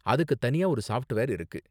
அதுக்கு தனியா ஒரு சாஃப்ட்வேர் இருக்கு.